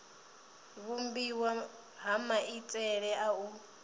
vhumbiwa ha maitele a u